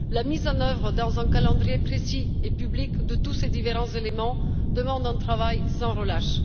La mise en œuvre, selon un calendrier précis et public, de tous ces différents éléments demande un travail sans relâche.